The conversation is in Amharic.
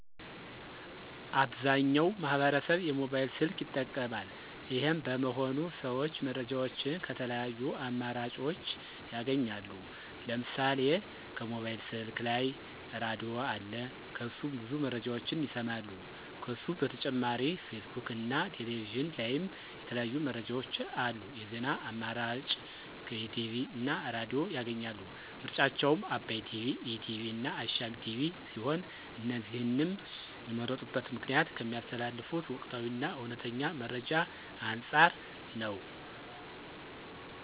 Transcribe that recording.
አብዛኛው ማህበረሰብ የሞባይል ስልክ ይጠቀማል። ይሄም በመሆኑ ሰዎች መረጃዎችን ከተለያዩ አማራጭኦች ያገኛሉ። ለምሳሌ ከሞባይል ስልክ ላይ ራድዬ አለ ከሱ ብዙ መረጃዎችን ይሰማሉ። ከሱ በተጨማሪ ፌስቡክ እና ቴሌቪዥን ላይም የተለያዩ መረጃዎች አሉ። የዜና አማራጭ ከቲቪ እና ራድዬ ያገኛሉ። ምርጫቸውም አባይ ቲቪ፣ ኢቲቪ እና አሻም ቲቪ ሲሆን እነዚህንም የመረጡበት ምክንያት ከሚያስተላልፉት ወቅታዊ እና እውነተኛ መረጃ አንፃር ነው።